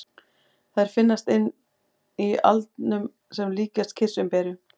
Þær finnast inni í aldinum sem líkjast kirsuberjum.